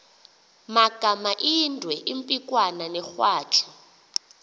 magamaindwe impikwana negwatyu